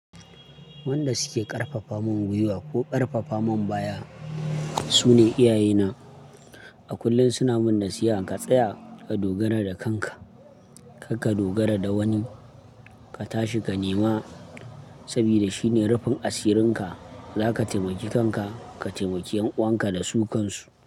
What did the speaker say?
Wanda suke ƙarfafamun gwiwa ko ƙarfafamun baya, su ne iyaye na. A kullum suna min nasiya ka tsaya, ka dogara da kanka, kar dogara da wani, ka tashi ka nema saboda shine rufin asirin ka. Za ka taimaki kanka, ka taimaki 'yan 'uwan ka da su kan su.